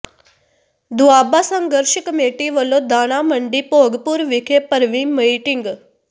ਦੁਆਬਾ ਸੰਘਰਸ਼ ਕਮੇਟੀ ਵਲੋਂ ਦਾਣਾ ਮੰਡੀ ਭੋਗਪੁਰ ਵਿਖੇ ਭਰਵੀਂ ਮੀਟਿੰਗ